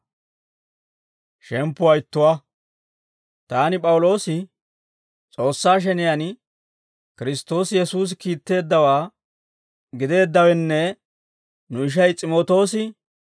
Taani P'awuloosi, S'oossaa sheniyaan Kiristtoosi Yesuusi kiitteeddawaa gideeddawenne nu ishay S'imootoosi,